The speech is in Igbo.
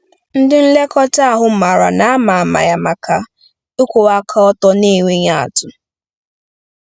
Ndị nlekọta ahụ maara na a ma ama ya maka ịkwụwa aka ọtọ na-enweghị atụ.